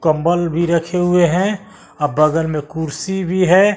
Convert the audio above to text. कंबल भी रखे हुए हैं और बगल में कुर्सी भी है।